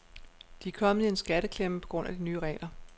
De er kommet i en skatteklemme på grund af de nye regler.